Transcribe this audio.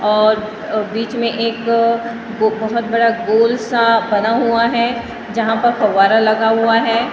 और अ बीच में एक बो बहुत बड़ा गोल सा बना हुआ है जहाँ पर फव्वारा लगा हुआ है --